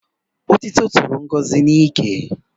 Otiti toro Ngozi n'ike